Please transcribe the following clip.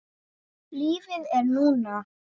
Lífið er núna.